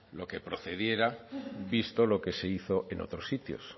lo que procediera visto lo que se hizo en otros sitios